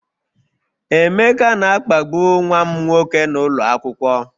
Emeka na-akpagbu nwa m nwoke n'ụlọ akwụkwọ